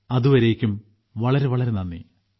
അതുവരേയ്ക്കും വളരെ വളരെ നന്ദി